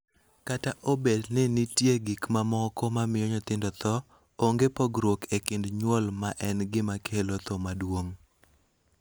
Kata obedo ni nitie gik mamoko ma miyo nyithindo tho, onge pogruok e kind nyuol ma en gima kelo tho maduong�.